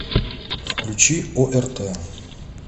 включи орт